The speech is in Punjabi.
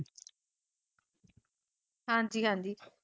ਹਾਂਜੀ - ਹਾਂਜੀ